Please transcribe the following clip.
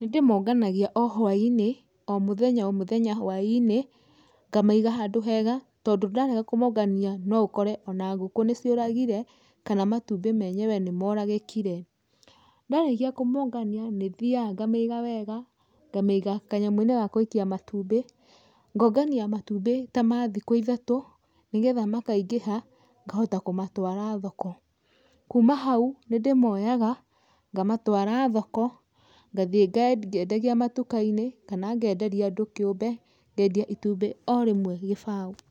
Nĩ ndĩmonganagia o hwainĩ, o mũthenya o mũthenya hwainĩ, ngamaiga handũ hega, tondũ ndarega kũmũngania no ũkore ona ngũkũ nĩ cioragire, kana matumbĩ menyewe nĩ moragĩkire. Ndarĩkia kũmongania nĩ thiaga ngamaiga wega, ngamaiga kanyamũ-inĩ ga guikia matumbĩ, ngongania matumbĩ ta ma thikũ ithatũ, nĩgetha makaingĩha, ngahota kũmatwara thoko. Kuma hau, nĩ ndĩmoyaga ngamatwara thoko, ngathiĩ ngĩendagia matuka-inĩ kana ngenderia andũ kĩumbe, ngendia itumbĩ o rĩmwe gĩbao.